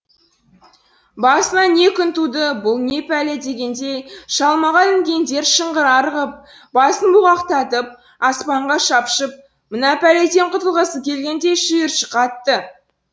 басыма не күн туды бұл не пәле дегендей шалмаға ілінгендер шыңғыра ырғып басын бұлғақтатып аспанға шапшып мына пәледен құтылғысы келгендей шиыршық атты